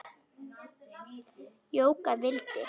Jóka vildi.